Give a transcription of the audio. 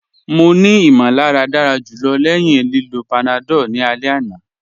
Mọ̀ ní ìmọ̀làrà dára julọ̀ lẹ́ẹ̀hin lìlọ́ panadol ni alẹ̀ àná.